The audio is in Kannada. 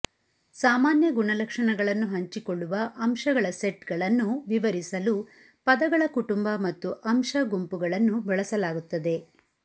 ಸಾಮಾನ್ಯ ಗುಣಲಕ್ಷಣಗಳನ್ನು ಹಂಚಿಕೊಳ್ಳುವ ಅಂಶಗಳ ಸೆಟ್ಗಳನ್ನು ವಿವರಿಸಲು ಪದಗಳ ಕುಟುಂಬ ಮತ್ತು ಅಂಶ ಗುಂಪುಗಳನ್ನು ಬಳಸಲಾಗುತ್ತದೆ